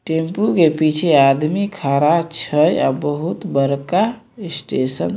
tempo के पीछे आदमी खड़ा छै अ बहुत बड़का स्टेशन --